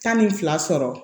Tan ni fila sɔrɔ